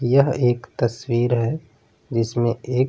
यह एक तस्वीर है जिसमें एक --